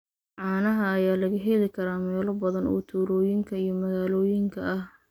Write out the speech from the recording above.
Caanaha ayaa laga heli karaa meelo badan oo tuulooyinka iyo magaalooyinka ah.